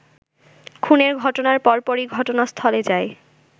খুনের ঘটনার পরপরই ঘটনাস্থলে যায়